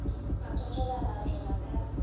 a totoba a tšwela ka